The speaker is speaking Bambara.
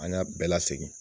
An ka bɛɛ lasegin.